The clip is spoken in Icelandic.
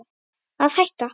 Að hætta?